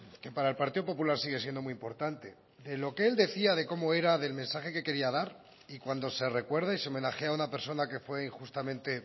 que para el partido popular sigue siendo muy importante de lo que él decía de cómo era del mensaje que quería dar y cuando se recuerde y se homenajea a una persona que fue injustamente